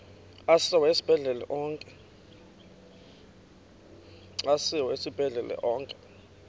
asiwa esibhedlele onke